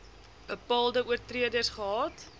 bepaalde oortreders gehad